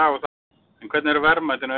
En hvernig eru verðmætin aukin?